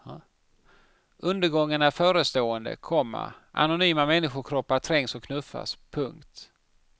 Undergången är förestående, komma anonyma människokroppar trängs och knuffas. punkt